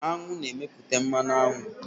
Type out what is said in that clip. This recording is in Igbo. Aṅụ na-emepụta mmanụ aṅụ